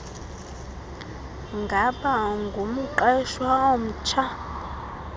ngaba ungumqeshwa omtsha